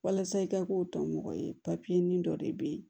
Walasa i ka k'o tɔmɔgɔ ye ni dɔ de bɛ yen